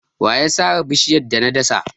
Wa ya sare bishiyar da na dasa?